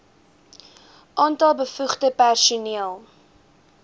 aantal bevoegde personeel